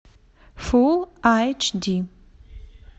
фулл айч ди